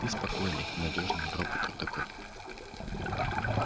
ты спокойный надёжный робот-рудокоп